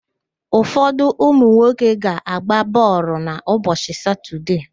Ụfodụ ụmụnwoke ga-agba bọọlụ n'ụbọchị Satọdee.